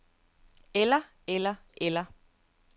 eller eller eller